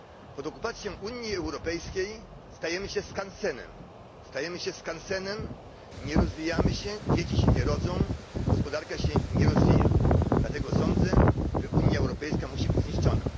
Pod okupacją Unii Europejskiej stajemy się skansenem, stajemy się skansenem, nie rozwijamy się, dzieci się nie rodzą, gospodarka się nie rozwija, dlatego sądzę, że Unia Europejska musi być zniszczona.